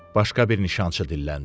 Başqa bir nişançı dilləndi.